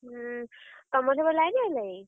ଉଁ ତମର ସେପଟେ line ଆଇଲାଇଁ?